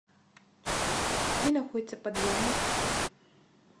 где находится подъемник